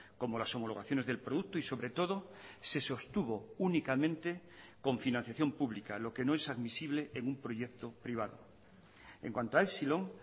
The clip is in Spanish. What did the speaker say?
como las homologaciones del producto y sobre todo se sostuvo únicamente con financiación pública lo que no es admisible en un proyecto privado en cuanto a epsilon